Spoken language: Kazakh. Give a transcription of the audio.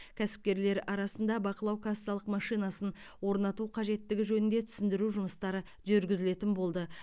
кәсіпкерлер арасында бақылау кассалық машинасын орнату қажеттігі жөнінде түсіндіру жұмыстары жүргізілетін болды